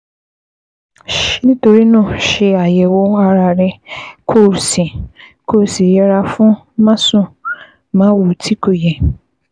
Nítorí náà, ṣe àyẹ̀wò ara rẹ kó o sì kó o sì yẹra fún másùnmáwo tí kò yẹ